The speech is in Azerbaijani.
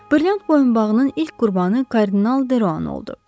Brilyant boyunbağının ilk qurbanı Kardinal Deroan oldu.